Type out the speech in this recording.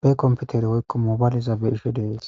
be komputeri woykko mobayliza be ishe dees